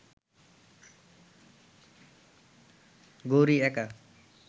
গৌরি একা